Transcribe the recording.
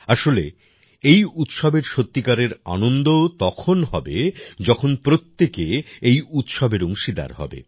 আসলে এই উৎসবের সত্যিকারের আনন্দও তখন হবে যখন প্রত্যেকে এই উৎসবের অংশীদার হবে